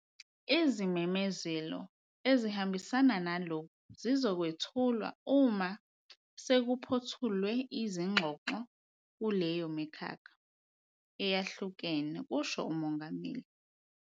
"Izimemezelo ezihambisana nalokhu zizokwethulwa uma sekuphothulwe izingxoxo kuleyo mikhakha eyahlukene," kusho uMongameli.